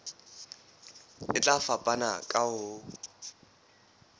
e tla fapana ka ho